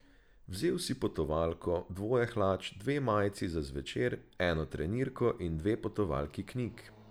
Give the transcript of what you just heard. Vzel si potovalko, dvoje hlač, dve majici za zvečer, eno trenirko in dve potovalki knjig.